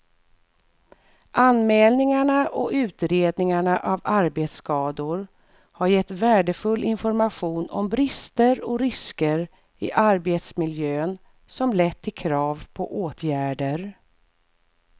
Anmälningarna och utredningarna av arbetsskador har gett värdefull information om brister och risker i arbetsmiljön som lett till krav på åtgärder.